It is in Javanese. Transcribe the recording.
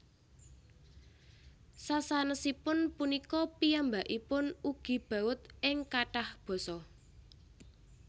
Sasanèsipun punika piyambakipun ugi baud ing kathah basa